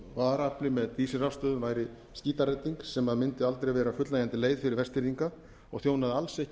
á varaafli með dísilrafstöðvum væri skítaredding sem mundi aldrei vera fullnægjandi leið fyrir vestfirðinga og þjónaði alls ekki